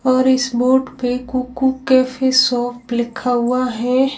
और इस बोर्ड पे कुकू कैफे शॉप लिखा हुआ है।